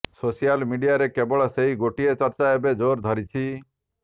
social ମିଡିଆରେ କେବଳ ସେଇ ଗୋଟିଏ ଚର୍ଚ୍ଚା ଏବେ ଜୋର୍ ଧରିଛି